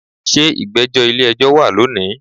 se igbejo ile ejo wa loni?